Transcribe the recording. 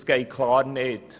Das geht klar nicht!